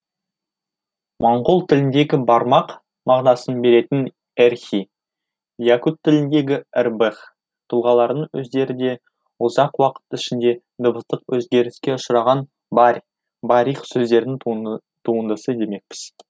моңғол тіліндегі бармақ мағынасын беретін эрхий якут тіліндегі эрбэх тұлғаларының өздері де ұзақ уақыт ішінде дыбыстық өзгеріске ұшыраған барь барих сөздерінің туындысы демекпіз